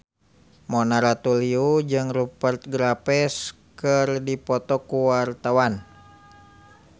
Mona Ratuliu jeung Rupert Graves keur dipoto ku wartawan